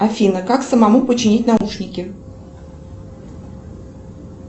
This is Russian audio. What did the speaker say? афина как самому починить наушники